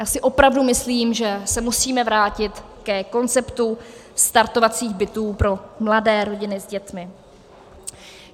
Já si opravdu myslím, že se musíme vrátit ke konceptu startovacích bytů pro mladé rodiny s dětmi.